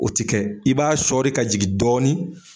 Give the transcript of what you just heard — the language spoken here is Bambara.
O tɛ kɛ i b'a shɔri ka jigin dɔɔni.